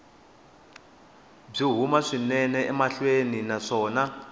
byi huma swinene emhakeni naswona